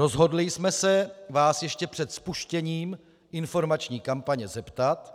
Rozhodli jsme se Vás ještě před spuštěním informační kampaně zeptat,